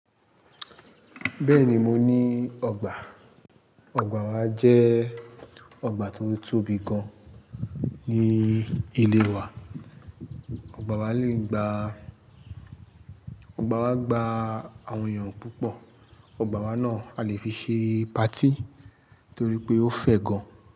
Bẹ́ẹ̀ni mo ní ọgbà. Ọgbà wa jẹ́ ọgbà tó tóbi gan ní ilé wa. Ọgbà wa le gba, ọgbà wa gba àwọn èèyàn púpọ̀. Ọgbà wa náà a lè fi ṣe patí torí pé ó fẹ̀ gan.